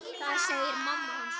Það segir mamma hans.